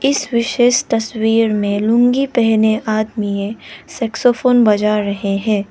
इस विशेष तस्वीर में लुंगी पहने आदमी सैक्सोफोन बजा रहे हैं।